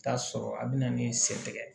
Taa sɔrɔ a bi na ni sen tigɛ